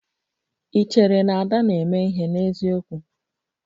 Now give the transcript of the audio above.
Ị chere na Ada na-eme ihe n'eziokwu?